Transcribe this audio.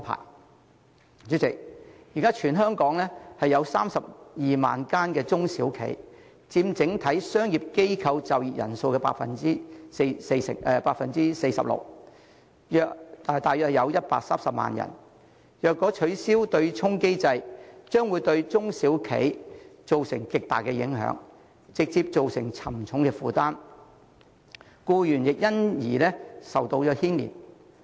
代理主席，現時全港有32萬間中小企，佔整體商業機構就業人數的 46%， 約130萬人，若取消對沖機制，將會對中小企造成極大影響，直接造成沉重負擔，僱員亦會因此而受到牽連。